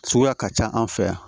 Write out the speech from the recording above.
Suguya ka ca an fɛ yan